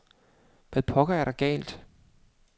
Hvad pokker er der galt?